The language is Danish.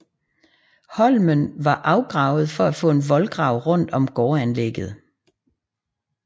Holmen var afgravet for at få en voldgrav rundt om gårdanlægget